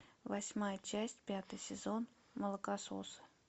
восьмая часть пятый сезон молокососы